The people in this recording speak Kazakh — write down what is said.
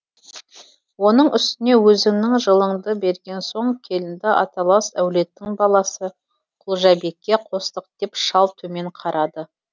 оның үстіне өзіңнің жылыңды берген соң келінді аталас әулеттің баласы құлжабекке қостық деп шал төмен қарады